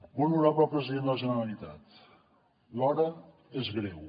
molt honorable president de la generalitat l’hora és greu